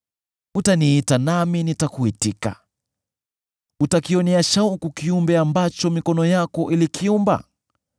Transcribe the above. Utaniita nami nitakuitika; utakionea shauku kiumbe ambacho mikono yako ilikiumba.